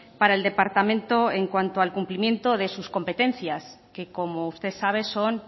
para el departamento en cuanto al cumplimiento de sus competencias que como usted sabe son